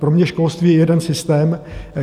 Pro mě školství je jeden systém.